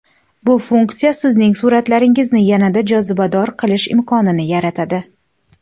Bu funksiya Sizning suratlaringizni yanada jozibador qilish imkonini yaratadi.